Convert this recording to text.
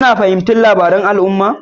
Kuna fahimtar labarun al'umma